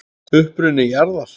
Uppruni jarðar